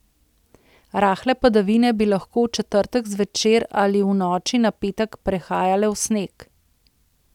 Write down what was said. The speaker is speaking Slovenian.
Rahle padavine bi lahko v četrtek zvečer ali v noči na petek prehajale v sneg.